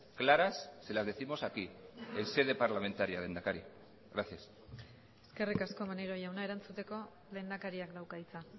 claras se las décimos aquí en sede parlamentaria lehendakari gracias eskerrik asko maneiro jauna erantzuteko lehendakariak dauka hitza